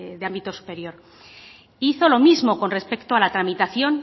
de ámbito superior hizo lo mismo con respecto a la tramitación